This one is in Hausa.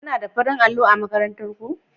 Kuna da farin allo a makarantarku